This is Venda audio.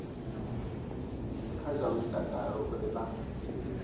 kha zwa mutakalo uri vha